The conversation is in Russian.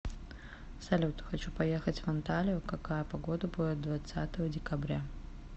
салют хочу поехать в анталию какая погода будет двадцатого декабря